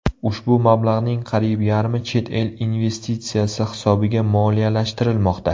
Ushbu mablag‘ning qariyb yarmi chet el investitsiyasi hisobiga moliyalashtirilmoqda.